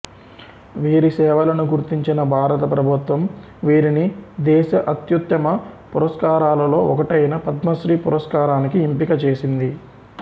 వీరి సేవలను గుర్తించిన భారత ప్రభుత్వం వీరిని దేశ అత్యుత్తమ పురస్కారాలలో ఒకటైన పద్మశ్రీ పురస్కారానికి ఎంపికచేసింది